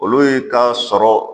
Olu ka sɔrɔ